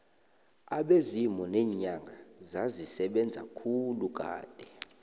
abezimu neenyanga zazisebenza khulu kade